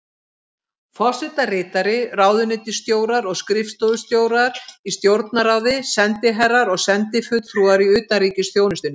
Forsetaritari, ráðuneytisstjórar og skrifstofustjórar í Stjórnarráði, sendiherrar og sendifulltrúar í utanríkisþjónustunni.